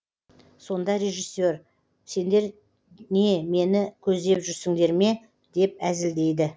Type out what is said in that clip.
сонда режиссер сендер не мені көздеп жүрсіңдер ме деп әзілдейді